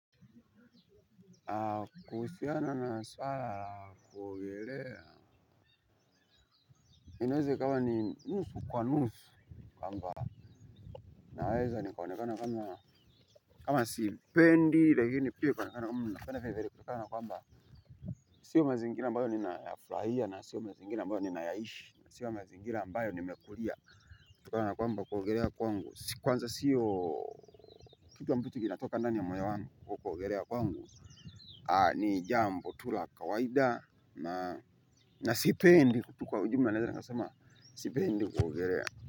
Kuusiana na swala kuogelea. Inaeze ikawaa ni nusu kwa nusu kwamba naweza ni kaonekana kama kama sipendi lakini pia kuonekana kama napenda virevire kutokana kwa mba. Sio mazingira ambayo nina yafurahia na sio mazingira ambayo nina yaishi na sio mazingira ambayo nina yaishi na sio mazingira ambayo ni mekulia. Tukana kwa mba kuogelea kwangu kwanza sio kitu ambacho kinatoka ndani ya moyo wangu kwa kuogelea kwangu. Ni jambo tula kawaida. Na sipendi kutu kwa ujumla na naeza nikasema, sipendi kuogerea.